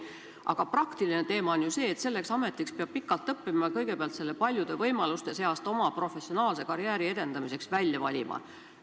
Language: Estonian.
Aga praktiline probleem on ju see, et selleks ametiks peab pikalt õppima ja kõigepealt selle paljude võimaluste seast oma professionaalse karjääri edendamiseks välja valima.